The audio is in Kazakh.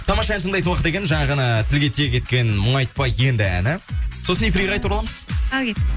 тамаша ән тыңдайтын уақыт екен жаңа ғана тілге тиек еткен мұңайтпа енді әні сосын эфирге қайта ораламыз ал кеттік